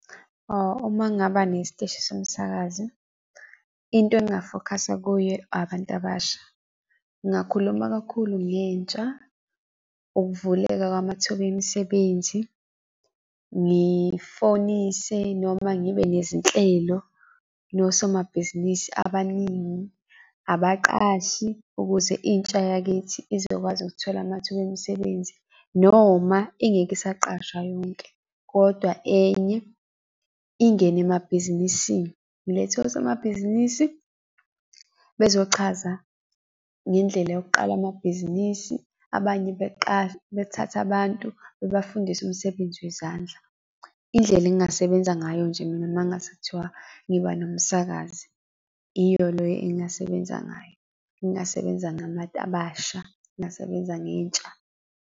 Uma ngaba nesiteshi somsakazi, into engafokhasa kuyo abantu abasha. Ngingakhuluma kakhulu ngentsha, ukuvuleka kwamathuba emisebenzi, ngifonise noma ngibe nezinhlelo nosomabhizinisi abaningi, abaqashi ukuze intsha yakithi izokwazi ukuthola amathuba omsebenzi, noma ingeke isaqashwa yonke, kodwa enye ingene emabhizinisini. Ngilethe osomabhizinisi bezochaza ngendlela yokuqala amabhizinisi, abanye bethathe abantu bebafundise umsebenzi wezandla. Indlela engasebenza ngayo nje mina mangase kuthiwa ngiba nomsakazi, iyo leyo engasebenza ngayo, ngingasebenza ngabantu abasha, ngingasebenza ngentsha.